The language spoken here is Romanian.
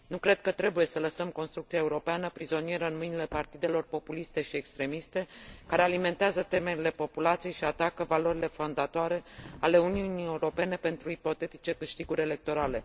Nu cred că trebuie să lăsăm construcția europeană prizonieră în mâinile partidelor populiste și extremiste, care alimentează temerile populației și atacă valorile fondatoare ale Uniunii Europene pentru ipotetice câștiguri electorale.